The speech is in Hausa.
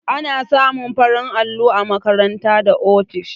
Ana samun farin allo a makarant da ofisoshi.